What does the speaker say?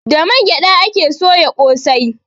Da man gyaɗa ake soya ƙosai.